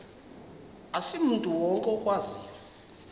asimntu wonke okwaziyo